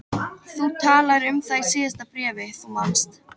Þú talaðir um það í síðasta bréfi, þú manst.